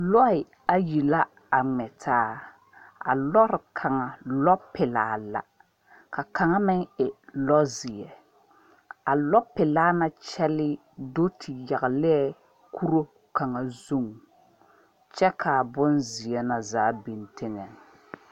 Lɔɛ ayi la a ŋmɛ taa a lɔre kaŋa lɔ pelaa la ka kaŋa meŋ e lɔ ziɛ a lɔ pelaa na kyɛle do te yaŋli la kuri kaŋ zu kyɛ kaa bon ziɛ na zaa biŋ teŋa.